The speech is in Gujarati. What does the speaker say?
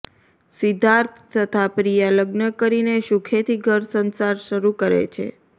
સિધ્ધાર્થ તથા પ્રિયા લગ્ન કરીને સુખેથી ઘર સંસાર શરૂ કરે છે